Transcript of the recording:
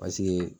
Paseke